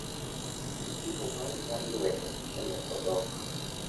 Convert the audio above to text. Ti gi simo mari mar lwedo e loko dhok.